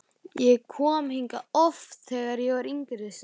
Ég kom hingað oft, þegar ég var yngri sagði hann.